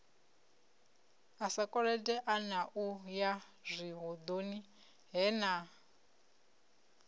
na u yazwihoḓoni he na